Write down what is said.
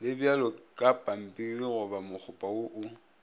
le bjalokapampirigoba mokgopa wo o